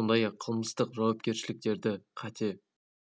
сондай-ақ қылмыстық жауапкершіліктерді қате